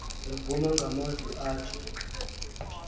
evuma ngamazwi athi